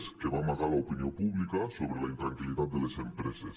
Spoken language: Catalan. es que va amagar a l’opinió pública sobre la intranquil·litat de les empreses